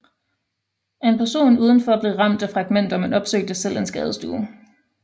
En person udenfor blev ramt af fragmenter men opsøgte selv en skadestue